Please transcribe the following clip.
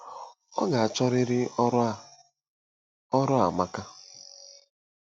Ọ ga achọriri ọrụ aaa. ọrụ a amaka